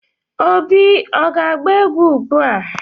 Obi ọ ga-agba egwu ugbua.